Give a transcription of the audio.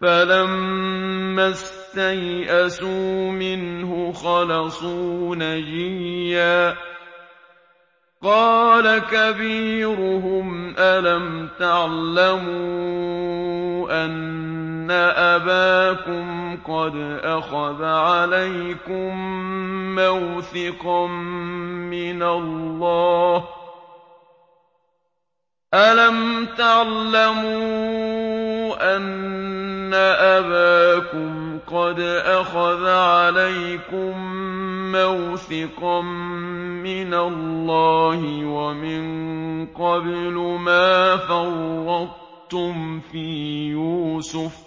فَلَمَّا اسْتَيْأَسُوا مِنْهُ خَلَصُوا نَجِيًّا ۖ قَالَ كَبِيرُهُمْ أَلَمْ تَعْلَمُوا أَنَّ أَبَاكُمْ قَدْ أَخَذَ عَلَيْكُم مَّوْثِقًا مِّنَ اللَّهِ وَمِن قَبْلُ مَا فَرَّطتُمْ فِي يُوسُفَ ۖ